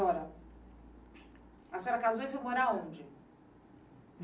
A senhora casou e foi morar onde?